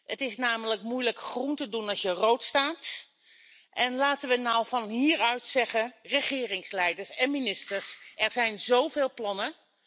Het is namelijk moeilijk groen te doen als je rood staat, en laten we nou van hieruit zeggen regeringsleiders en ministers, er zijn zoveel plannen.